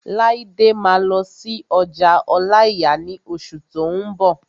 Laide máa lọ sí ọjà ọláìyà ní oṣù tó n bọ̀